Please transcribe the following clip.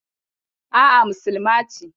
A'a, musulma ce.